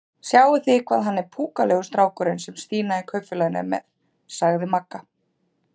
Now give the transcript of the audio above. Sjáið þið hvað hann er púkalegur strákurinn sem Stína í Kaupfélaginu er með? sagði Magga.